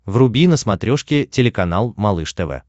вруби на смотрешке телеканал малыш тв